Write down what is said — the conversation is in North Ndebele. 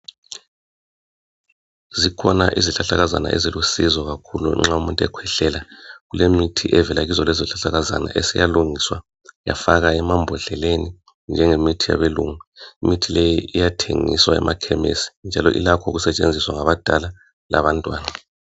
Zikhona isihlahlakazana ezilusizo nxa umuntu ekhwehlela, kulemithi evela kulezo sihlahlakazana eseyalungiswa yafakwa emambodleleni njengemithi yabelungu. Imithi leyi iyathengwa emakhemisi ilakho ukusetshenziswa ngabadala labantwana.